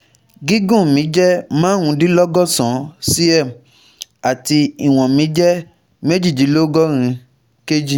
Gígùn mi jẹ́ marundinlogọ́sàn-án cm àti ìwọn mi jẹ́ mejidinlọgọrin kg